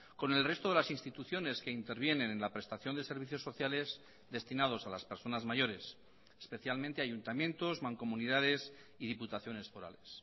con el resto de las instituciones que intervienen en la prestación de servicios sociales destinados a las personas mayores especialmente ayuntamientos mancomunidades y diputaciones forales